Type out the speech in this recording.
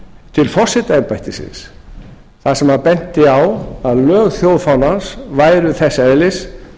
til forsetaembættisins þar sem hann benti á að lög þjóðfánans væru þess eðlis